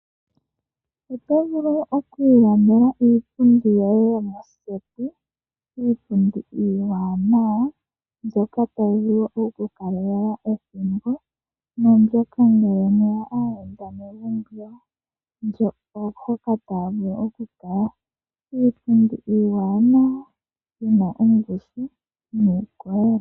Oto vulu okwiilandela iipundi yoye yomoseti, iipundi iiwanawa mbyoka tayi vulu oku ku kalela ethimbo , oyo mbyoka ngele mwe ya aayenda megumbo mbyo, hoka taya vulu okukala. Iipundi iiwanawa yi na ongushu nuukolele.